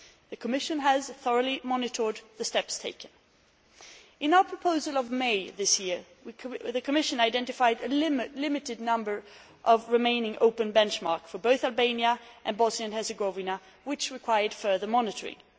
The Commission has thoroughly monitored the steps taken. In our proposal of May this year, the Commission identified a limited number of remaining open benchmarks for both Albania and Bosnia and Herzegovina, which required further monitoring.